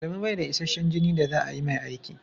Adamu bai da isashen jini da za a yi mai aiki.